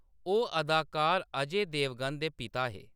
ओह्‌‌ अदाकार अजय देवगन दे पिता हे।